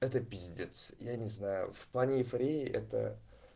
это пиздец я не знаю в плане эйфории это